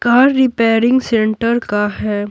Car repairing centre का है।